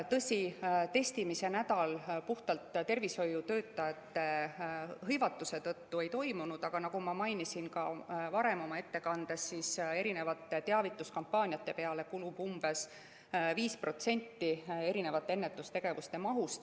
Tõsi, testimise nädal puhtalt tervishoiutöötajate hõivatuse tõttu ei toimunud, aga nagu ma mainisin ka oma ettekandes, teavituskampaaniate peale kulub umbes 5% ennetustegevuste mahust.